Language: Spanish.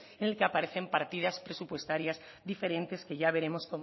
en el que aparecen partidas presupuestarias diferentes que ya veremos